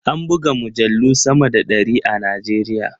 An buga mujallu sama da ɗari a Najeriya.